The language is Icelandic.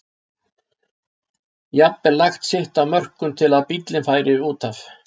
jafnvel lagt sitt af mörkum til að bíllinn færi út af.